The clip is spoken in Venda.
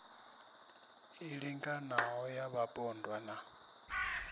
i linganaho ya vhapondwa na